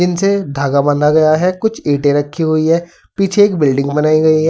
इनसे धागा बांधा गया है। कुछ ईटें रखी हुई है। पीछे एक बिल्डिंग बनाई गई है।